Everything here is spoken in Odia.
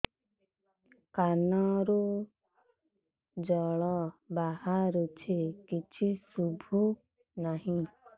କାନରୁ ଜଳ ବାହାରୁଛି କିଛି ଶୁଭୁ ନାହିଁ